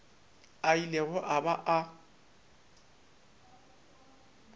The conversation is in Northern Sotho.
a ilego a ba a